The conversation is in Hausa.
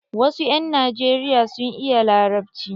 Wasu 'yan najeriya sun iya larabci.